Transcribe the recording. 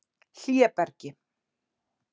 Hlébergi